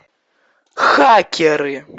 хакеры